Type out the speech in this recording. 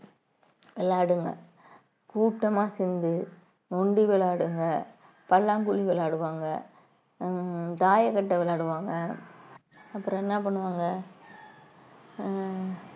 விளையாடுங்க கூட்டமா சேர்ந்து நொண்டி விளையாடுங்க பல்லாங்குழி விளையாடுவாங்க ஹம் தாயக்கட்டை விளையாடுவாங்க அப்புறம் என்ன பண்ணுவாங்க ஹம்